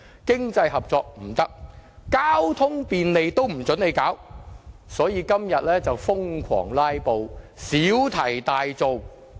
經濟合作不行，連令交通更便利也不准，所以反對派今天瘋狂"拉布"，小題大做。